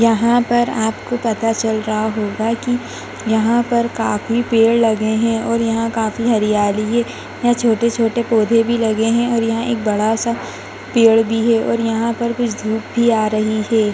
यहाँ पर आपको पता चल रहा होगा कि यहाँ पर काफी पेड़ लगे हैं और यहाँ काफी हरियाली है यहाँ छोटे-छोटे पौधे भी लगे हैं और यहाँ एक बड़ा सा पेड़ भी है और यहाँ धूप भी आ रही हैं।